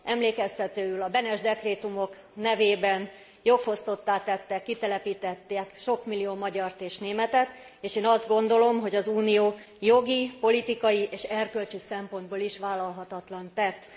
Emlékeztetőül a Benes dekrétumok nevében jogfosztottá tettek, kitelepítettek sok millió magyart és németet, és én azt gondolom, hogy az Unió jogi, politikai és erkölcsi szempontból is vállalhatatlant tett.